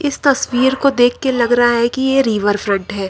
इस तस्वीर को देख के लग रहा है कि ये रिवर फ्रंट है।